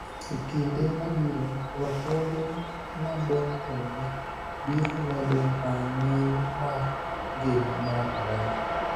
E kinde mabiro, lokruoge madongogi biro medo rang�iny mar ngima mar oganda